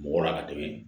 Mɔgɔ la ka tɛmɛ